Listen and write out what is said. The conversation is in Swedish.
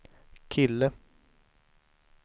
kille